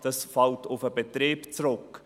Das fällt auf den Betrieb zurück.